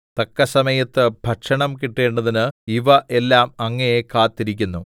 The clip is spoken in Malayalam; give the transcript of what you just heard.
തക്കസമയത്ത് ഭക്ഷണം കിട്ടേണ്ടതിന് ഇവ എല്ലാം അങ്ങയെ കാത്തിരിക്കുന്നു